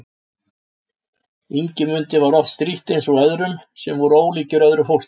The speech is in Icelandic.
Ingimundi var oft strítt eins og öðrum sem voru ólíkir öðru fólki.